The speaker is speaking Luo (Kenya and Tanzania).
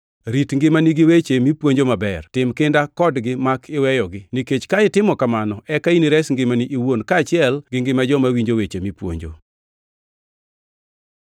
Rit ngimani gi weche mipuonjo maber. Tim kinda kodgi mak iweyogi, nikech ka itimo kamano eka inires ngimani iwuon kaachiel gi ngima joma winjo weche mipuonjo.